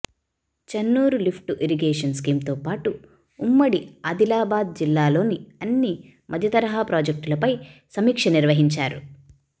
Chennur lift irrigation స్కీంతోపాటు ఉమ్మడి ఆదిలాబాద్ జిల్లాలోని అన్ని మధ్యతరహా ప్రాజెక్టులపై సమీక్ష నిర్వహించారు